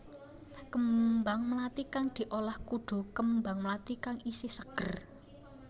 Kembang mlathi kang diolah kudu kembang mlathi kang isih seger